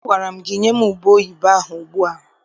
Agwara gị nye m ubeoyibo ahụ ugbu a!